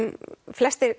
flestir